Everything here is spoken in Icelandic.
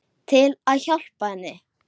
Til að hjálpa henni.